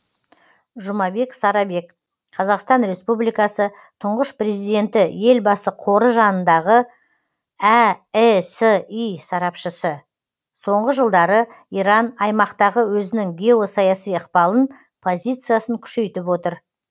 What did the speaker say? жұмабек сарабек қазақстан республикасы тұңғыш президенті елбасы қоры жанындағы әэси сарапшысы соңғы жылдары иран аймақтағы өзінің геосаяси ықпалын позициясын күшейтіп отыр